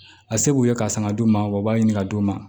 A se k'u ye k'a san ka d'u ma wa u b'a ɲini ka d'u ma